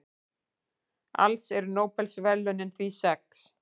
Alls eru Nóbelsverðlaunin því sex.